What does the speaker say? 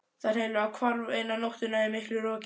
Það hreinlega hvarf eina nóttina í miklu roki.